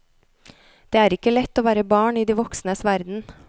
Det er ikke lett å være barn i de voksnes verden.